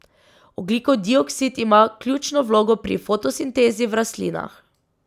Ogljikov dioksid ima ključno vlogo pri fotosintezi v rastlinah.